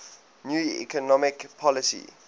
new economic policy